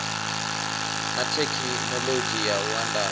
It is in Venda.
na thekhinoḽodzhi ya u andadza